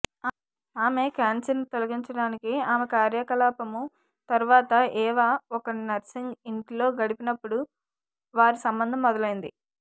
ఆమె క్యాన్సర్ను తొలగించటానికి ఆమె కార్యకలాపము తర్వాత ఎవా ఒక నర్సింగ్ ఇంటిలో గడిపినప్పుడు వారి సంబంధం మొదలైంది